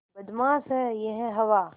बदमाश है यह हवा